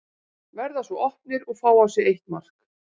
Verða svo opnir og fá á sig eitt mark.